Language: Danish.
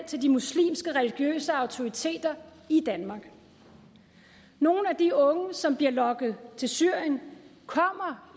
til de muslimske religiøse autoriteter i danmark nogle af de unge som bliver lokket til syrien kommer